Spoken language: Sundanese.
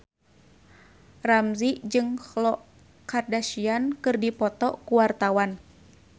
Ramzy jeung Khloe Kardashian keur dipoto ku wartawan